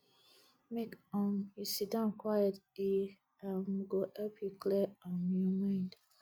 make um you sit down quiet e um go help you clear um your mind